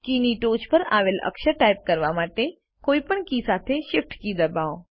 કીની ટોચ પર આવેલ અક્ષર ટાઇપ કરવા માટે કોઈપણ કી સાથે Shift કી દબાવો